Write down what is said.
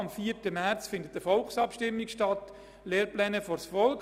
Am 4. März findet eine Volksabstimmung statt mit dem Titel «Lehrpläne vors Volk!».